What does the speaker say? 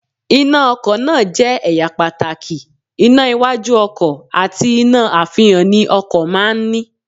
Iná ọkọ̀ náà jẹ́ ẹ̀yà pàtàkì, iná iwájú ọkọ̀ àti iná àfihàn ni ọkọ̀ máa ń ní